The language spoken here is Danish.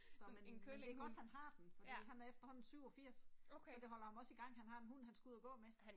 Så men men det er godt han har den, fordi han er efterhåden 87, så det holder ham også i gang han har en hund han skal ud og gå med